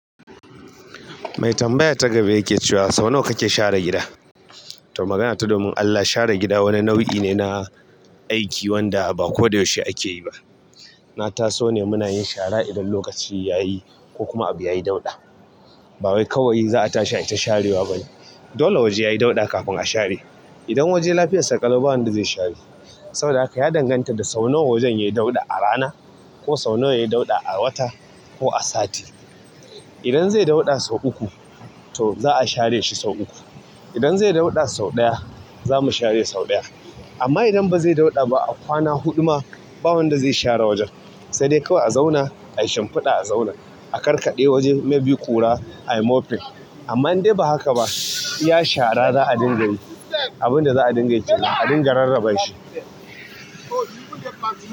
Mai tambaya ta gaba yake cewa sau nawa kake share gida? To magana ta domin Allah share gida wani nau'i ne na aiki wanda ba koyaushe ake yi ba. Na taso ne muna yin shara idan lokaci yayi ko kuma abu yayi dauɗa. Ba wai kawai za'a tashi ai ta sharewa ba ne. Dole waje yayi dauɗa kafin a share. Idan waje lafiyarsa ƙalau ba wanda zai share. Saboda haka ya danganta sau nawa wajen yayi dauɗa a rana, ko sau nawa yayi dauɗa to magana ta domin Allah share gida wani nau'i ne na aiki wanda ba kodayaushe ake yi ba. Idan zai dauɗa sau ɗaya, zamu share sau ɗaya amma idan bazai dauɗa ba a kwana huɗu ma ba wanda zai share wajen. Sai dai kawai a zauna ayi shimfiɗa a zaune. A karkaɗe waje may be ƙura ayi morphing amma indai ba haka ba. Itadhara za'a dinga yi abin da za'a dinga yi kenan a dinga rarrabe shi.